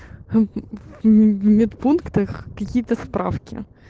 медпунктах какие-то справки